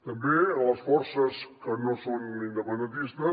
també les forces que no són independentistes